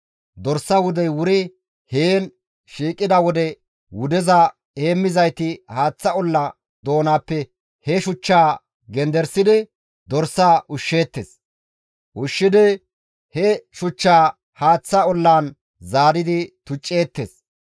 Dorsa wudey wuri heen shiiqida wode wudeza heemmizayti haaththa olla doonappe he shuchchaa genderisidi dorsaa ushsheettes. Ushshidi he shuchchaa haaththa ollaan zaaridi tucceettes.